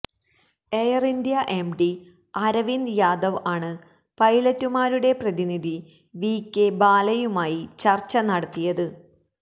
air India M D Arvind Jadhav ആണ് പൈലറ്റുമാരുടെ പ്രതിനിധി വികെ ഭാലയുമായി ചര്ച്ച നടത്തിയത്